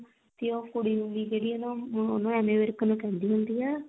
ਤੇ ਉਹ ਕੁੜੀ ਵੀ ਜਿਹੜੀ ਵੀ ਨਾ ਉਹ ਉਹਨੂੰ ਐਮੀ ਵਿਰਕ ਨੂੰ ਕਹਿੰਦੀ ਹੁੰਦੀ ਆ